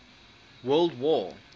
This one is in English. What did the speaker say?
world war